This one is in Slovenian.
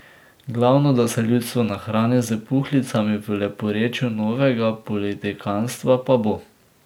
Glavno da se ljudstvo nahrani s puhlicami v leporečju novega politikantstva, pa bo.